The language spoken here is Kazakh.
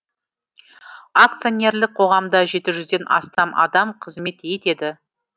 акционерлік қоғамда жеті жүзден астам адам қызмет етеді